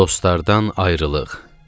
Dostlardan ayrılıq.